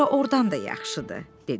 Bura ordan da yaxşıdır, dedi.